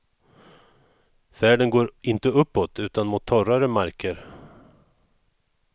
Färden går inte uppåt, utan mot torrare marker.